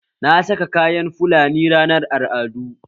Na saka kayan fulani ranar al'adu